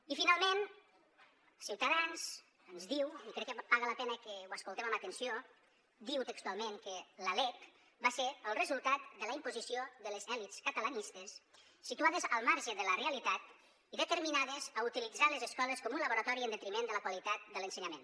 i finalment ciutadans ens diu i crec que paga la pena que ho escoltem amb atenció diu textualment que la lec va ser el resultat de la imposició de les elits catalanistes situades al marge de la realitat i determinades a utilitzar les escoles com un laboratori en detriment de la qualitat de l’ensenyament